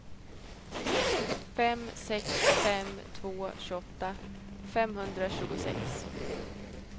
fem sex fem två tjugoåtta femhundratjugosex